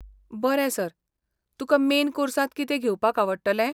बरें सर. तुका मेन कोर्सांत कितें घेवपाक आवडटलें?